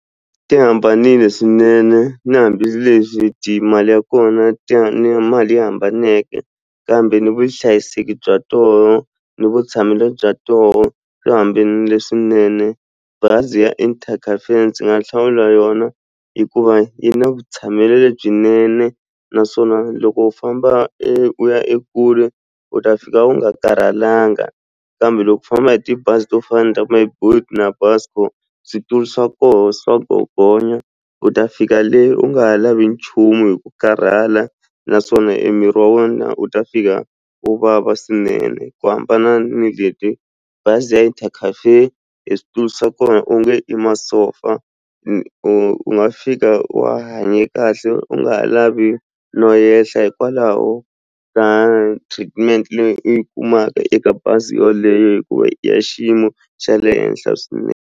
Ti hambanile swinene na hambileswi mali ya kona ti mali yi hambaneke kambe ni vuhlayiseki bya toho ni vutshamelo bya toho byi hambanile swinene bazi ya ndzi nga hlawula yona hikuva yi na byinene naswona loko u famba e u ya e kule u ta fika u nga karhalanga kambe loko u famba hi tibazi to fana ni ta ku Myboet na Busco switulu swa kona swa gogonya u ta fika leyi u nga ha lavi nchumu hi ku karhala naswona e miri wa wena wu ta fika u vava swinene ku hambana ni bazi ya switulu swa kona u nge i masofa u nga fika wa hanye kahle u nga ha lavi no yehla hikwalaho ka treatment leyi u yi kumaka eka bazi yoleyo hikuva ya xiyimo xa le henhla swinene.